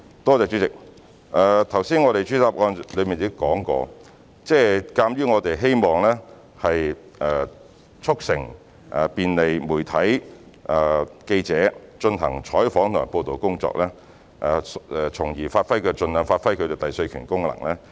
代理主席，我剛才在主體答覆已指出，我們希望便利媒體及記者進行採訪及報道的工作，以便能盡量發揮其第四權功能。